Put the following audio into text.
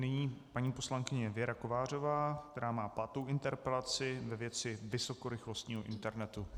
Nyní paní poslankyně Věra Kovářová, která má pátou interpelaci ve věci vysokorychlostního internetu.